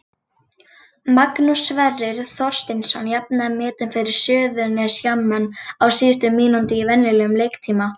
Magnús Sverrir Þorsteinsson jafnaði metin fyrir Suðurnesjamenn á síðustu mínútu í venjulegum leiktíma.